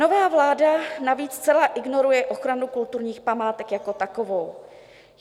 Nová vláda navíc zcela ignoruje ochranu kulturních památek jako takovou.